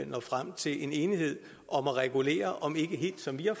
nå frem til en enighed om at regulere om ikke helt som vi har